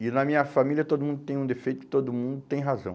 E na minha família todo mundo tem um defeito e todo mundo tem razão.